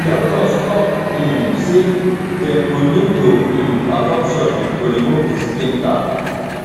doctors tok um say dem go need to um perform surgery to remove di splinter